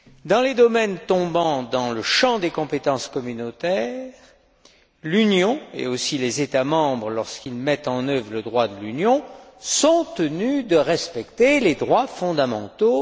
Dans les domaines tombant dans le champ des compétences communautaires, l'Union, et aussi les États membres, lorsqu'ils mettent en œuvre le droit de l'Union, sont tenus de respecter les droits fondamentaux.